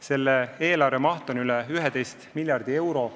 Selle eelarve maht on üle 11 miljardi euro.